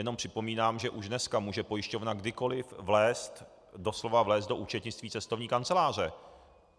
Jen připomínám, že už dneska může pojišťovna kdykoli vlézt, doslova vlézt do účetnictví cestovní kanceláře.